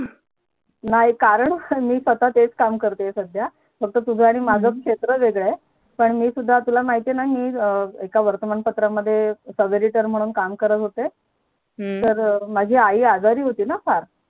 नाही कर्ण मी स्वात सुद्धा हेच काम करत आहे सध्या फक्त तुझं माझं क्षेत्र वेगळं आहे. पण मी सुद्धा तुला माहिती आहे ना मी एक वर्तमान पत्रात Subeditor म्हणून काम करत होते माझी आई आजारी होती फार